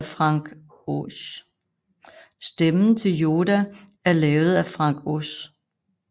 Stemmen til Yoda er lavet af Frank Oz